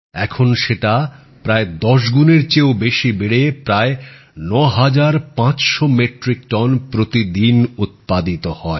এখন সেটা প্রায় দশগুনের চেয়েও বেশী বেড়ে প্রায় ৯৫00 মেট্রিক টন প্রতিদিন উৎপাদিত হয়